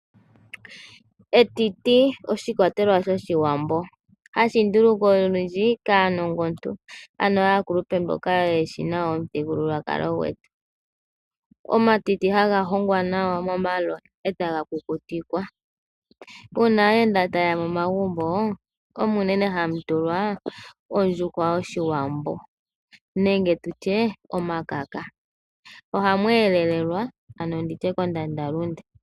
Etiti oshikwatelwa shoshiwambo hashi ndulukwa olundji kaanongontu ano aakulupe mboka yeshi nawa omuthigululwakalo gwetu. Omatiti haga hongwa nawa momaloya etaga kukutikwa . Uuna aayenda tayeya momagumbo omo unene hamu tulwa ondjuhwa yoshiwambo nenge omakaka . Ohamu elelelwa ano kondanda lunde.